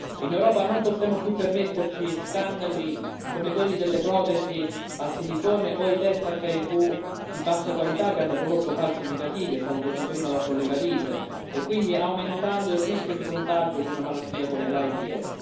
In Europa non possiamo più permetterci scandali come quelli delle protesi al silicone o dei test HIV di bassa qualità che hanno prodotto falsi negativi è stato detto prima dal collega Liese aumentando quindi il rischio di contagio di una malattia come l'AIDS.